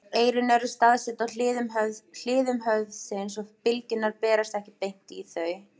Eyrun eru staðsett á hliðum höfuðsins og bylgjurnar berast ekki beint í þau.